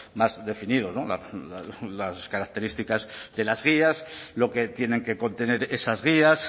más definidos las características de las guías lo que tienen que contener esas guías